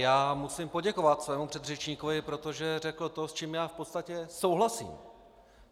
Já musím poděkovat svému předřečníkovi, protože řekl to, s čím já v podstatě souhlasím.